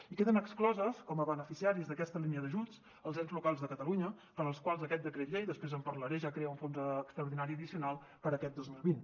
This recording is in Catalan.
i queden exclosos com a beneficiaris d’aquesta línia d’ajuts els ens locals de catalunya per als quals aquest decret llei després en parlaré ja crea un fons extraordinari addicional per a aquest dos mil vint